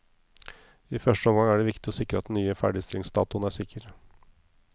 I første omgang er det viktig å sikre at den nye ferdigstillingsdatoen er sikker.